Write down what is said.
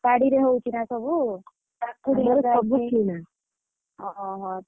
ବାଡିରେ ହଉଛି ନା ସବୁ କାକୁଡି ଅହ ହ।